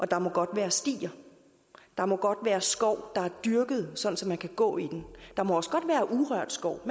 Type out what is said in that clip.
der må godt være stier der må godt være skov der er dyrket sådan at man kan gå i den der må også godt være urørt skov